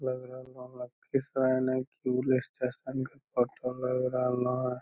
लएग रहलो लखीसराय ने क्यूल स्टेशन के फोटो लएग रहलो हेय।